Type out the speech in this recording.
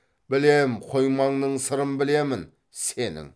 білем қоймаңның сырын білемін сенің